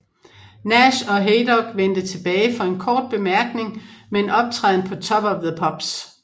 Nash og Haydock vendte tilbage for en kort bemærkning med en optræden på Top of the Pops